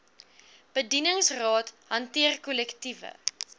bedingingsraad hanteer kollektiewe